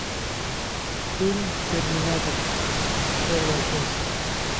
фильм терминатор первая часть